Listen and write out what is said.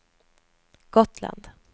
Gotland